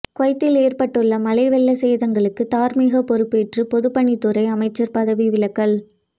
குவைத்தில் ஏற்பட்டுள்ள மழை வெள்ள சேதங்களுக்கு தார்மீக பொறுப்பேற்று பொதுப்பணித்துறை அமைச்சர் பதவி விலகல்